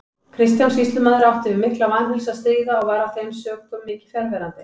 Kristján sýslumaður átti við mikla vanheilsu að stríða og var af þeim sökum mikið fjarverandi.